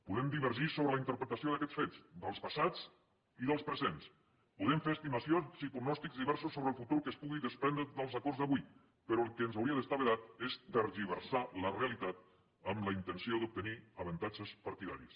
podem divergir sobre la interpretació d’aquests fets dels passats i dels presents podem fer estimacions i pronòstics diversos sobre el futur que es pugui desprendre dels acords d’avui però el que ens hauria d’estar vedat és tergiversar la realitat amb la intenció d’obtenir avantatges partidaris